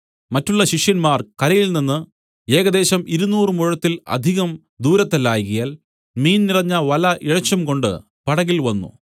മറ്റുള്ള ശിഷ്യന്മാർ കരയിൽ നിന്നു ഏകദേശം ഇരുനൂറ് മുഴത്തിൽ അധികം ദൂരത്തല്ലായ്കയാൽ മീൻ നിറഞ്ഞ വല ഇഴച്ചുംകൊണ്ട് പടകിൽ വന്നു